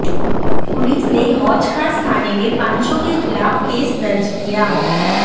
police ने हौज खास थाने में पांचों के खिलाफ केस दर्ज किया